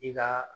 I ka